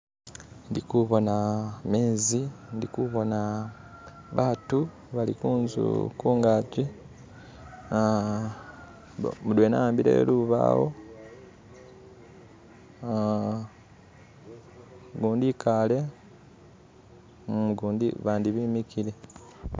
Ndikubona gamezi ndikubona abantu balikunzu kungaji aa mudwena awambile lubawo aa gundi ikaale gundi, bandi bimikile